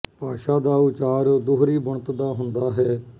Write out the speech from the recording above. ਭਾਸ਼ਾ ਦਾ ਉਚਾਰ ਦੂਹਰੀ ਬੁਣਤ ਦਾ ਹੁੰਦਾ ਹੈ